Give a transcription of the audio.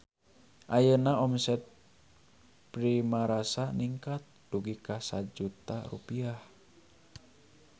Ayeuna omset Primarasa ningkat dugi ka 1 juta rupiah